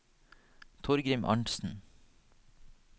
Torgrim Arntsen